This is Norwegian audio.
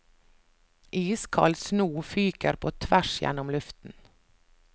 Iskald sno fyker på tvers gjennom luften.